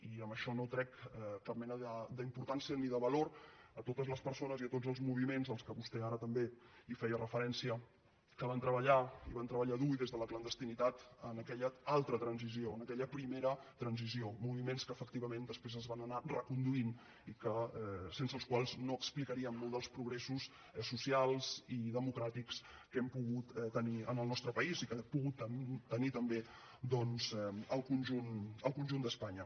i amb això no trec cap mena d’importància ni de valor a totes les persones i a tots els moviments als quals vostè ara també feia referència que van treballar i van treballar dur i des de la clandestinitat en aquella altra transició en aquella primera transició moviments que efectivament després es van anar reconduint i sense els quals no explicaríem molts del progressos socials i democràtics que hem pogut tenir al nostre país i que hem pogut tenir també doncs al conjunt d’espanya